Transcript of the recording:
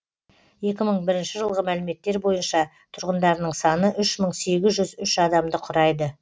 екі мың бірінші жылғы мәліметтер бойынша тұрғындарының саны үш мың сегіз жүз үш адамды құрайды